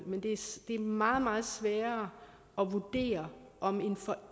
det er meget meget sværere at vurdere om